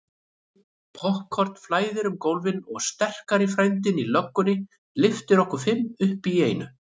Poppkorn flæðir um gólfin og sterki frændinn í löggunni lyftir okkur fimm upp í einu.